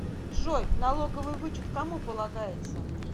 джой налоговый вычет кому полагается